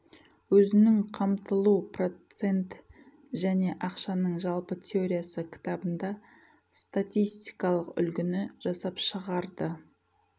өзінің қамтылу процент және ақшаның жалпы теориясы кітабында статистикалық үлгіні жасап шығарды